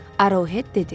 Arohet dedi.